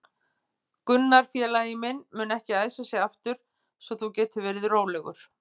Gunnar félagi minn mun ekki æsa sig aftur svo þú getur verið rólegur.